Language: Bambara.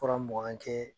Fura mugan kɛ